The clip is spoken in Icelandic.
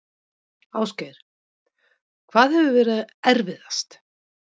Ásgeir: Hvað hefur verið erfiðast?